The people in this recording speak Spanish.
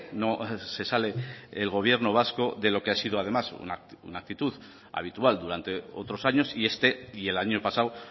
no se sale el gobierno vasco de lo que ha sido además una actitud habitual durante otros años y este y el año pasado